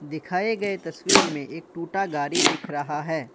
दिखाए गए तस्वीर में एक टूटा गाड़ी दिख रहा है।